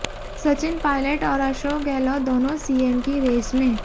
सचिन पायलट और अशोक गहलोत दोनों सीएम की रेस में